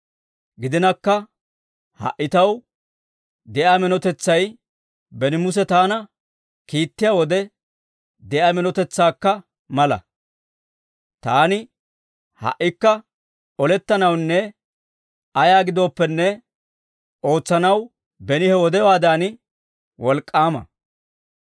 Gidinakka ha"i taw de'iyaa minotetsay beni Muse taana kiittiyaa wode de'iyaa minotetsaakka mala. Taani ha"ikka olettanawunne ayaa giddooppene ootsanaw beni he wodewaadan wolk'k'aama.